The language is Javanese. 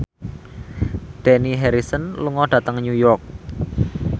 Dani Harrison lunga dhateng York